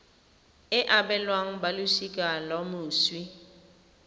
e abelwang balosika la moswi